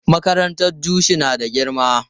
Makarantar Jushi na da girma.